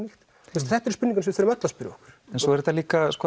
þetta eru spurningar sem við verðum öll að spyrja okkur svo er þetta líka